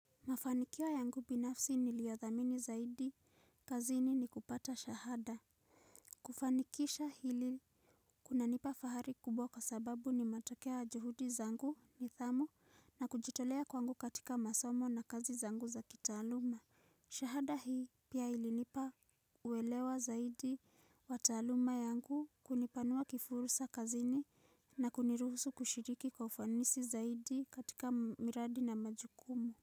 Mafanikio yangu binafsi niliyo thamini zaidi, kazini ni kupata shahada. Kufanikisha hili kunanipa fahari kubwa kwa sababu ni matokeo ya juhudi zangu nidhamu na kujitolea kwangu katika masomo na kazi zangu za kitaaluma. Shahada hii pia ilinipa uelewa zaidi wa taaluma yangu kunipanua kifursa kazini na kuniruhusu kushiriki kwa ufanisi zaidi katika miradi na majukumu.